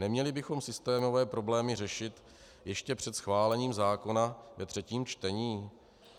Neměli bychom systémové problémy řešit ještě před schválením zákona ve třetím čtení?